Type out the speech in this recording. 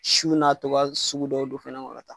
Sun'a toba sugu dɔw don finin kɔnɔ ka taa.